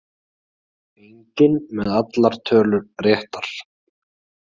Enginn með allar tölur réttar